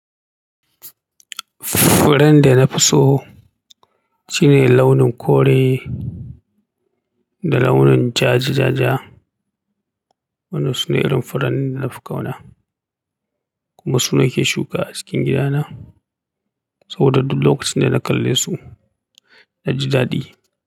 Furen da na fi so shine launin kore da launin jaj jaja. Wannan sune irin furen da na fi ƙauna, kuma su na ke shuka a cikin gidana saboda duk lokacin da na kalle su na ji daɗi.